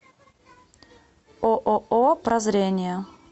ооо прозрение